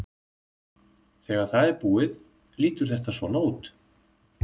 Þegar það er búið lítur þetta svona út: